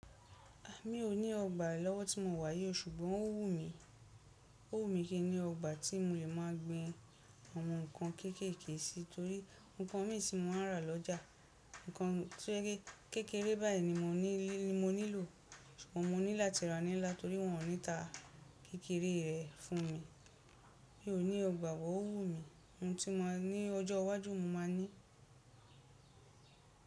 Èmi o ní ọgbà ní ọwọ́ tí mo wà yíò, ṣùgbọ́n o wu mí, ó wù mí kí n ní ọgbà tí mo le máa gbin àwọn nǹkan kéékèèké sí, torí nǹkan mi ti mọ̀ máa ń ra lọ́ja, nnan to je ki kékeré báyìí ni mo ní lò. Òhun mo ni latí ra ni ńlá nítorí pé won o nii ta kékeré re funmi, mí o nílò ọgbà, but o wùmí, ohun tí mo máa ní, ọjọ́ iwájú mo máa ní.